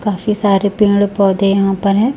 काफी सारे पेड़ पौधे यहां पर है।